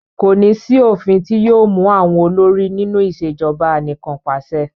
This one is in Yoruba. Kò ní sí òfìn ti yóò mú àwọn olórí nínú ìṣèjọba anìkanpàṣẹ.